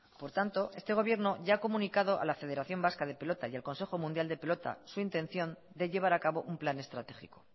por tanto este gobierno ya ha comunicado a la federación vasca de pelota y al consejo mundial de pelota su intención de llevar a cabo un plan estratégico